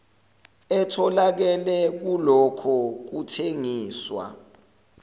etholakele kulokho kuthengiswa